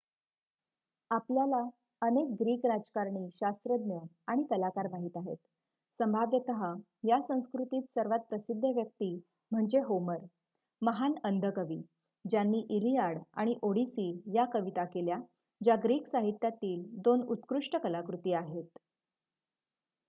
आपल्याला अनेक ग्रीक राजकारणी शास्त्रज्ञ आणि कलाकार माहित आहेत संभाव्यत या संस्कृतीत सर्वात प्रसिद्ध व्यक्ती म्हणजे होमर महान अंध कवी ज्यांनी इलियाड आणि ओडिसी या कविता केल्या ज्या ग्रीक साहित्यातील 2 उत्कृष्ट कलाकृती आहेत